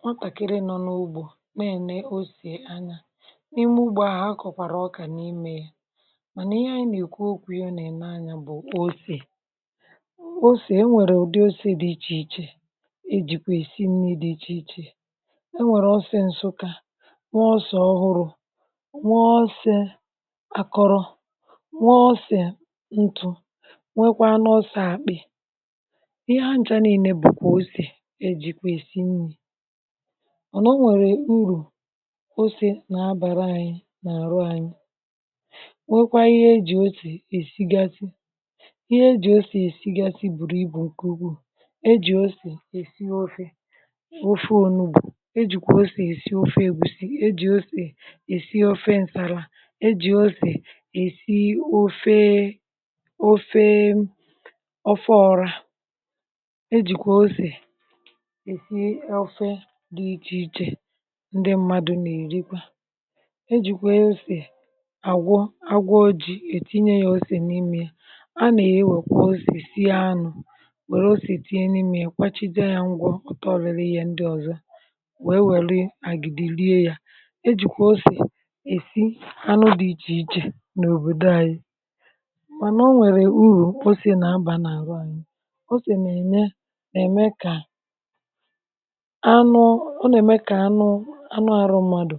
Nwatàkịrị nọ n’ugbȯ na-ene osè anya n’ime ugbȯ a, ha kọ̀kwàrà ọkà n’imė ya, mànà ihe anyị nà-èkwu okwu ihe ọ nà-ène anya ya bụ̀ osè. Osè, e nwèrè ụ̀dị osè dị ichè ichè, e jìkwa èsì nni dị ichè ichè: e nwèrè ọsè ǹsụka, nwe osè ọhụrụ, nwe osè àkọrọ, nwe osè ntụ, nwekwa nu osè ̇ àkpị. Ihe ha ncha niile bù kwà osè ejìkwa èsì nni mana ọ nwèrè urù ose na-abàra ȧnyị nà-àrụ ȧnyị nwekwa ihe ejì osè èsigasị. Ihe ejì osè èsigasị bùrù ibù nké ùgwù ejì osè èsì ofe ofe ònùgbo, ejìkwà ọsè èsikwa ofe ègwuzi, ejì osè èsì ofe ǹsàlà, ejì osè èsì ofe ofe ọfọ ọra, ejìkwà ọsè esi ofe dị ichè ichè dị mmadụ nà-èrikwa, ejìkwa osè àgwọ agwọ ji ètinye ya osè n’imė ya, a nà-ewèkwa osè sìe anụ, wère osè tinye n’imė ya kwachijė ya ngwọ ọtọrịrị ihe ndị ọ̀zọ wèe wère àgìdì lie ya. Ejìkwa osè èsi anụ dị ichè ichè n’òbòdò anyị, mànà o nwèrè urù ose na-abà n’àru anyị, ose nà-ème nà-ème kà ọ nà-ème kà anụ anụ arụ̇ mmadụ̀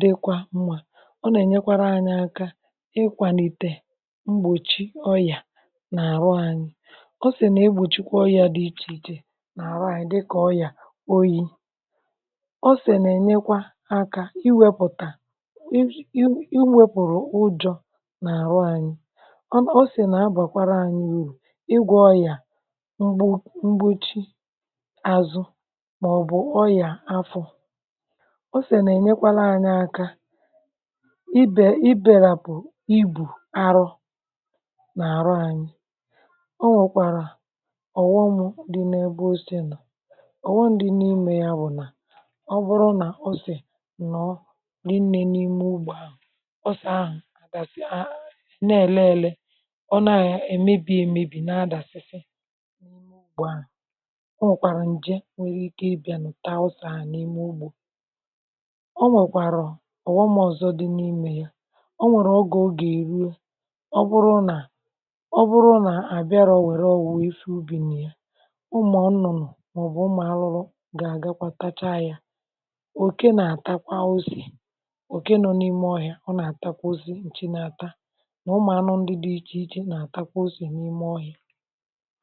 dịkwa mmȧ, ọ nà-ènyekwara anyị aka ịkwàlìte mgbòchi ọyà nà-àrụ anyị. Osè nà egbòchikwa ọrị̀à dị ichè ichè nà-àrụ anyị dị kà ọyà oyi. Osè nà-ènyekwa akȧ iwėpùtà iwėpùrù ụjọ nà-àrụ anyị osè nà-abàkwara anyị urù ịgwọ ọyà mgbochi azụ ma ọbụ ọyà afọ, osè nà-ènyekwara anyi aka ibè ibèrapụ̀ ibù arụ n’àrụ anyi. Ọ nwèkwàrà ọ̀ghọm dị n’ebe ose nọ̀, ọ̀ghọm dị n’imė ya bụ̀ nà: ọ bụrụ nà osè nọ̀ọ nrie nnė n’ime ugbȯ ahụ̀, osè ahụ̀ àgàsị̀ a a na-èle ele ọ nȧ ya èmebì èmebì na-adàsịsị n ime ụgbọ ahu. Ọ nwèkwàrà ǹje nwèrè ike bịanụ taa osè ahụ n'ime ụgbọ. Ọ nwèkwàrọ̀ ọ̀ghọmọ̀zọ dị n’imė ya, ọ nwèrè ọ gọ̀ o gà èruo ọ bụrụ nà ọ bụrụ nà à bịarọ nwèrè ọ̀wụ̀ nwè ife ubì nà ya, ụmụ̀ ọnụ̀nụ̀ mà ọ̀ bụ̀ ụmụ̀anụrụ gà àgakwa tacha ya. Òke nà ata kwa osè òke nọ n’ime ọhịȧ ọ nà àtakwa o si, ǹchi na-ata nà ụmụ̀anụ̀ ndị dị̇ichè ichè nà àtakwa osè n’ime ọhịȧ.